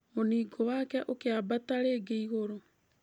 Mũningũ wake ũkĩambata rĩngĩ igũrũ.